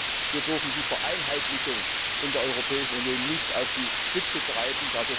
Und wir dürfen die Vereinheitlichung in der Europäischen Union nicht auf die Spitze treiben.